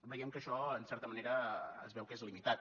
veiem que això en certa manera es veu que és limitat